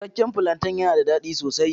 Cikakke plantain yana da daɗi sosai.